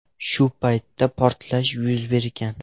Shu paytda portlash yuz bergan.